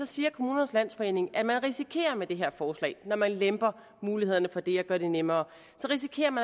siger kommunernes landsforening at man risikerer med det her forslag når man lemper mulighederne for det og gør det nemmere